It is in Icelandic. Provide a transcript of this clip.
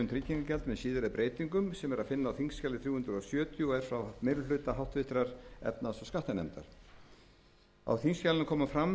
tryggingagjald með síðari breytingum sem er að finna á þingskjali þrjú hundruð sjötíu og er frá meiri hluta háttvirtrar efnahags og skattanefndar á þingskjalinu kemur fram